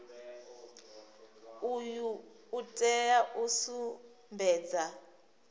uyu u tea u sumbedza